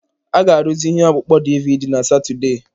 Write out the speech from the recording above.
A ga-arụzi ihe ọkpụkpọ DiiViiDi na Satọde.